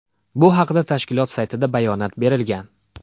Bu haqda tashkilot saytida bayonot berilgan .